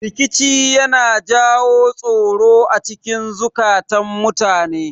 Rikici yana jawo tsoro acikin zukatun mutane